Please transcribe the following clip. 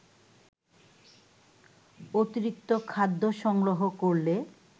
অতিরিক্ত খাদ্য সংগ্রহ করলে